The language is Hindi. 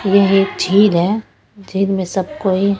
यही झील है झील में सब कोई--